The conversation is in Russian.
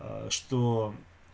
а что